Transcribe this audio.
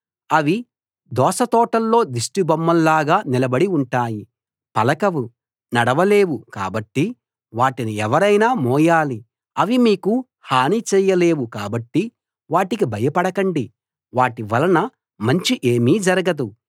అవి దోస తోటల్లో దిష్టి బొమ్మల్లాగా నిలబడి ఉంటాయి పలకవు నడవలేవు కాబట్టి వాటిని ఎవరైనా మోయాలి అవి మీకు హాని చేయలేవు కాబట్టి వాటికి భయపడకండి వాటి వలన మంచి ఏమీ జరగదు